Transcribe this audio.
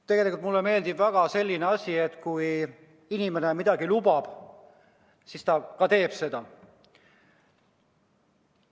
Tegelikult mulle meeldib väga selline asi, et kui inimene midagi lubab, siis ta ka teeb seda.